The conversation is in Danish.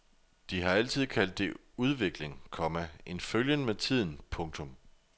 De har altid kaldt det udvikling, komma en følgen med tiden. punktum